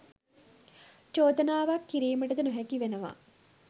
චෝදනාවක් කිරීමටද නොහැකි වෙනවා.